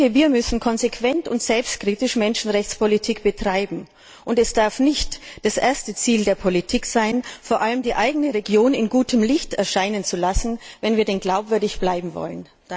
Wir müssen konsequent und selbstkritisch Menschenrechtspolitik betreiben, und es darf nicht das erste Ziel der Politik sein, vor allem die eigene Region in gutem Licht erscheinen zu lassen, wenn wir denn glaubwürdig bleiben wollen.